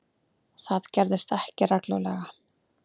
Það gerðist ekki reglulega.